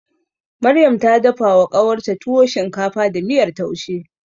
Maryam ta dafawa ƙawarta tuwo shinkafa da miyar taushe.